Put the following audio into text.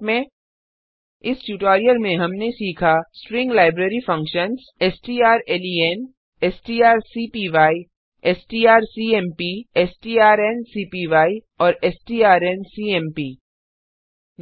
संक्षेप में इस ट्यूटोरियल में हमने सीखा string library functions strlen strcpy strcmp strncpy और strncmp